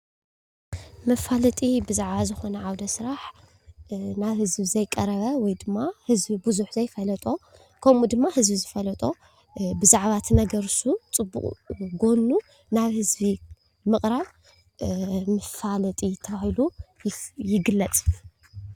መፋለጢ ብዛዕባ ዝኾነ ዓውደ ስራሕ ናብ ህዝቢ ዘይቀረበ ወይድማ ህዝቢ ብዙሕ ዘይፈለጦ ከምኡ ድማ ህዝቢ ዝፈለጦ ብዛዕባ ትነገር እሱ ፅቡቕ ጎኑ ናብ ህዝቢ ምቕራብ መፋለጢ ተባሂሉ ይግለፅ፡፡